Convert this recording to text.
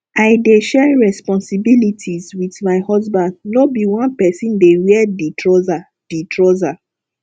i dey share responsibilities wit my husband no be one pesin dey wear di trouser di trouser